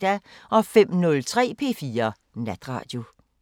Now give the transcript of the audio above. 05:03: P4 Natradio